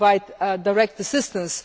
we provide direct assistance.